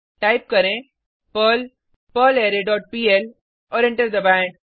type करें Perl perlre dot PL और enter दबाएँ